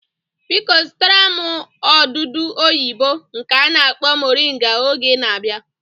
Biko zụtara m odudu oyibo nke a na-akpọ moringa oge ị na-abịa